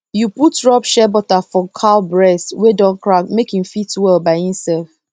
you put rub shea butter for cow breast wey don crack make e fit well by inself